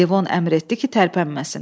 Levon əmr etdi ki, tərpənməsin.